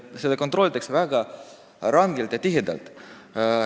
Kõike kontrollitakse väga rangelt ja tihedalt.